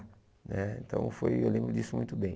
Né então, foi eu lembro disso muito bem.